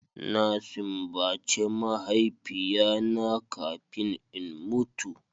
Na simbace mahaifiya na kafin in mutu.